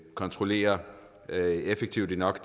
kontrollerer effektivt nok